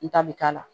N ta bi k'a la